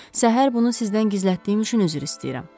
Səhər bunu sizdən gizlətdiyim üçün üzr istəyirəm.